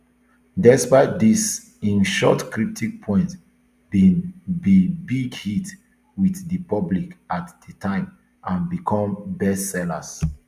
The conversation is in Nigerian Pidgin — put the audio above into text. despite dis im short cryptic poems bin be big hit with di public at di time and become bestsellers